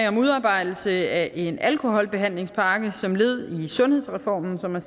om udarbejdelse af en alkoholbehandlingspakke som led i sundhedsreformen som er